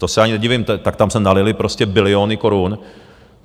To se ani nedivím, tak tam se nalily prostě biliony korun.